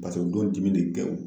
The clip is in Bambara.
Paseke o don dimi de tɛ